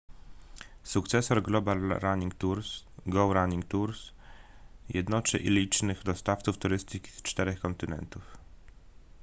sukcesor global running tours go running tours jednoczy licznych dostawców turystyki z czterech kontynentów